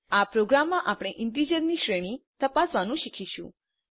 આ પ્રોગ્રામમાં આપણે ઈન્ટીજર ની શ્રેણી તપાસવાનું શીખીશું